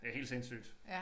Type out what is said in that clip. Det helt sindssygt